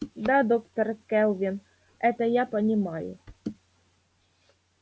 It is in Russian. да доктор кэлвин это я понимаю